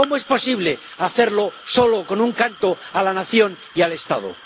¿Cómo es posible hacerlo solo con un canto a la nación y al Estado?